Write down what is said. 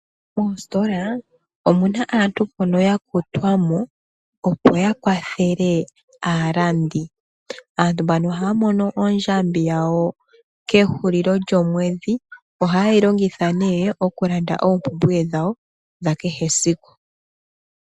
Moositola omuna aantu mbono ya kutwa mo opo ya kwathele aalandi. Aaantu mbano ohaa mono ondjambi yawo kehulilo lyomwedhi. Ohaye yi longitha nee okulanda oompumbwe dhawo dha kehe siku.